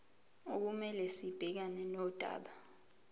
okumele sibhekane nodaba